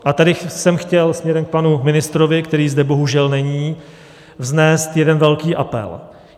A tady jsem chtěl směrem k panu ministrovi, který zde bohužel není, vznést jeden velký apel.